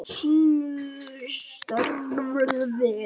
Sinnir sínu starfi.